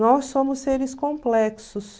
Nós somos seres complexos.